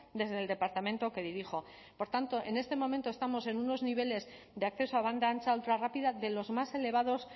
desde el departamento que dirijo por tanto en este momento estamos en unos niveles de acceso a banda ancha ultra rápida de los más elevados